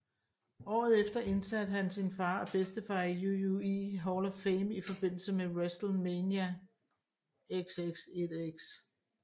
Året efter indsatte han sin far og bedstefar i WWE Hall of Fame i forbindelse med WrestleMania XXIX